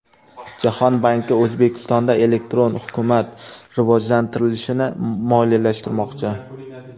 Jahon banki O‘zbekistonda elektron hukumat rivojlantirilishini moliyalashtirmoqchi.